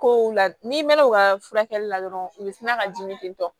Kow la n'i mɛnna u ka furakɛli la dɔrɔn u bɛ sina ka dimi ten tɔ